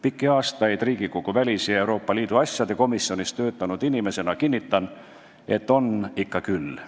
Pikki aastaid Riigikogu väliskomisjonis ja Euroopa Liidu asjade komisjonis töötanud inimesena kinnitan, et on ikka küll.